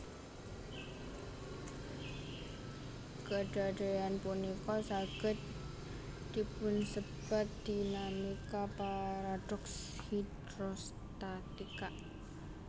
Kedadean punika saged dipunsebat dinamika paradoks hidrostatika